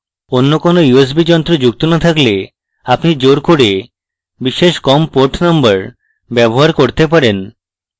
অন্য কোন usb যন্ত্র যুক্ত no থাকলে আপনি জোর করে বিশেষ com port number ব্যবহার করতে পারেন